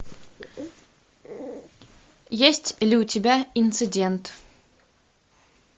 есть ли у тебя инцидент